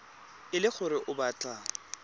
e le gore o batla